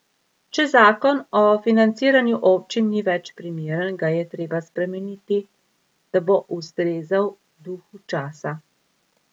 Če zakon o financiranju občin ni več primeren, ga je treba spremeniti, da bo ustrezal duhu časa.